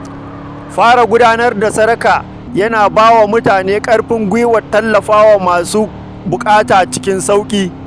Fara gudanar da sadaka yana ba wa mutane ƙarfin gwiwar tallafa wa masu buƙata cikin sauƙi.